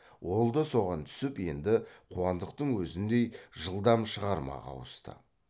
ол да соған түсіп енді қуандықтың өзіндей жылдам шығармаға ауысты